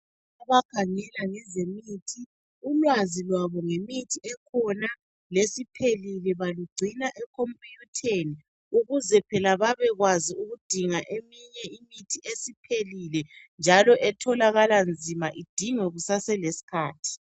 Abakhangela ngezemithi , ulwazi lwabo ngezemithi ekhona lesiphelile balugcina ekhomputheni ukuze phela babekwazi ukudinga eminye imithi esiphelile njalo etholakala nzima idingwe kusaseleskhathi